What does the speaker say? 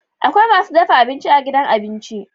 Akwai masu dafa abinci a gidan abinci.